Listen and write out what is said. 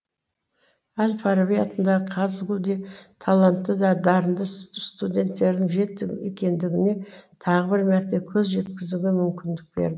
әл фараби атындағы қазгу де талантты да дарынды студенттердің жетік екендігіне тағы бір мәрте көз жеткізуге мүмкіндік бер